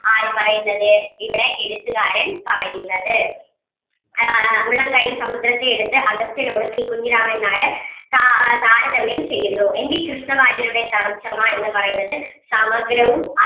ആര് പറയുന്നത് ഇവിടെ എഴുത്തുകാരൻ പറയുന്നത് ആഹ് ഉള്ളം കയ്യിൽ സമുദ്രത്തെ എടുത്ത അഗസ്ത്യനോട് പി കുഞ്ഞിരാമൻ നായർ താ ആഹ് താരതമ്യം ചെയ്യുന്നു എൻ വി കൃഷ്ണവാര്യരുടെ തർജ്ജമ എന്ന് പറയുന്നത് സമഗ്രവും